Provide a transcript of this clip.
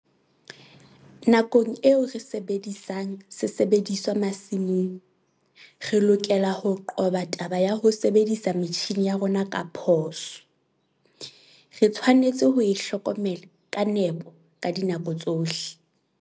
Nakong eo re sebedisang sesebediswa masimong, re lokela ho qoba taba ya ho sebedisa metjhine ya rona ka phoso. Re tshwanetse ho e hlokomela ka nepo ka dinako tsohle.